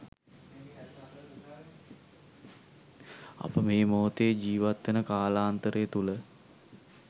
අප මේ මොහොතේ ජීවත්වන කාලාන්තරය තුළ